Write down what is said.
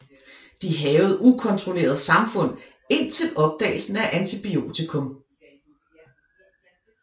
De hærgede ukontrolleret samfund indtil opdagelsen af antibiotikum